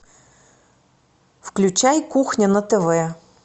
включай кухня на тв